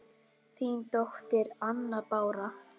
Þín dóttir, Anna Bára.